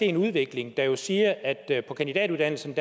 en udvikling der jo siger at på kandidatuddannelsen